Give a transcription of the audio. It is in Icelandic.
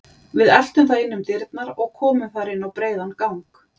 Við eltum það inn um dyrnar og komum þar inn á breiðan gang.